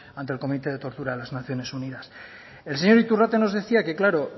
ante el comité de tortura de las naciones unidas el señor iturrate nos decía que claro